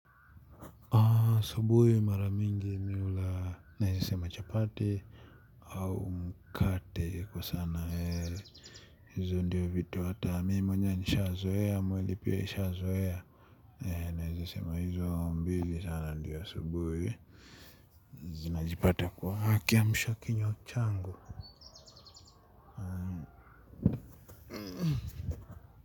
Asubuhi mara mingi mimi hula naeza sema chapati au mkate kwa sana hizo ndiyo vitu hata mimi mwenyewe nishazoea mwili pia ishazoea naeza sema hizo mbili sana ndiyo asubuhi zinajipata kwa kiamshakinywa changu.